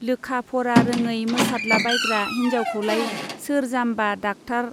लोखा-फरा रोङै मोसादलाबायग्रा हिन्जावखौलाय सोर जाम्बा डाक्टार